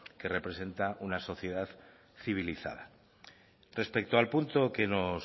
que representa una sociedad civilizada respecto al punto que nos